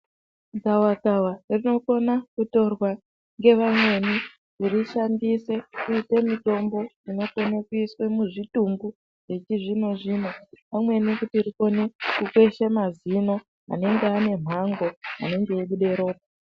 Gavakava rinokona kutorwa ngevayani roshandiswa kuite mutombo unokone kuiswe muzvitumbu wechizvino zvino pamweni kuti rikone kukweshe mazino anenge abe mhango anenge eibude ropa.